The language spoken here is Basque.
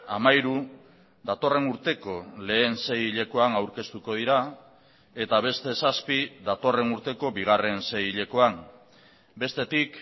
hamairu datorren urteko lehen seihilekoan aurkeztuko dira eta beste zazpi datorren urteko bigarren seihilekoan bestetik